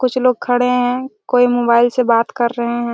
कुछ लोग खड़े है कोई मोबाइल से बात कर रहे है।